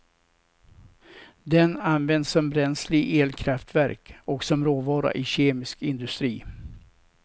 Den används som bränsle i elkraftverk och som råvara i kemisk industri.